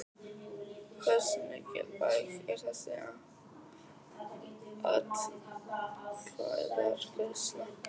Hversu mikilvæg er þessi atkvæðagreiðsla?